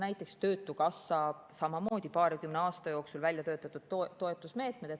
Näiteks töötukassa on samamoodi paarikümne aasta jooksul välja töötanud toetusmeetmed.